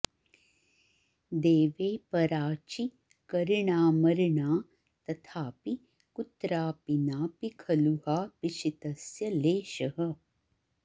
देवे पराचि करिणामरिणा तथापि कुत्रापि नापि खलु हा पिशितस्य लेशः